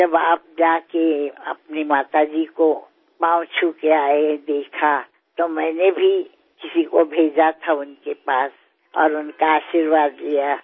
જ્યારે આપ જઈને આપની માતાના ચરણસ્પર્શ કરીને આવ્યા જોયું તો મેં પણ કોઈને મોકલ્યા હતા તેમની પાસે અને તેમના આશીર્વાદ લીધા